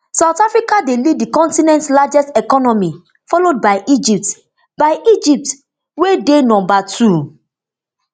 south africa dey lead di continent largest economy followed by egypt by egypt wey dey number two